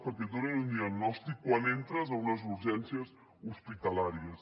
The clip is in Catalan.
perquè et donin un diagnòstic quan entres a unes urgències hospitalàries